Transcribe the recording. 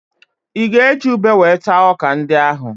Ị ga-eji ube wee taa ọ́kà ndị ahụ?